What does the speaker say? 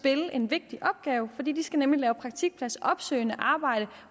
en vigtig opgave fordi de skal lave praktikpladsopsøgende arbejde